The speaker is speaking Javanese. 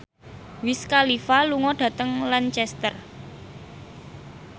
Wiz Khalifa lunga dhateng Lancaster